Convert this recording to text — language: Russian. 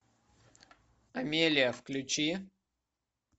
амелия включи